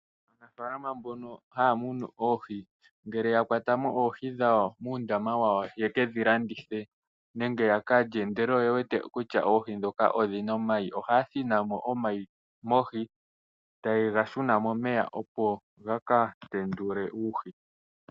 Aanafaalama mbono haya munu oohi ngele yakwamo oohi dhawo muundama wawo yekedhi landithe nenge yakalye ndele oyewete kutya oohi ndhoka odhina omayi ohaya thinamo omayi mohi tayega shuna momeya opo gaka tendule uuhi.